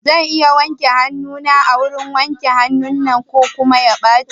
Zan iya wanke hanuna a wurin wanke hanun nan ko kuma ya ɓaci?